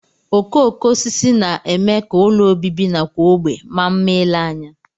Okooko osisi na-eme ka ụlọ obibi nakwa ógbè maa mma ile anya